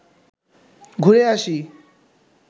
ঘুরে আসি